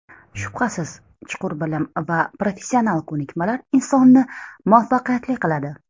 Shubhasiz, chuqur bilim va professional ko‘nikmalar insonni muvaffaqiyatli qiladi.